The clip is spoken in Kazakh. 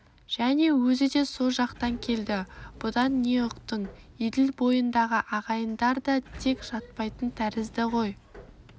және өзі со жақтан келді бұдан не ұқтың еділ бойындағы ағайындар да тек жатпайтын тәрізді ғой